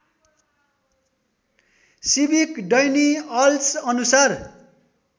सिविकडैनिअल्स अनुसार